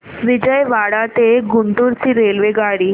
विजयवाडा ते गुंटूर ची रेल्वेगाडी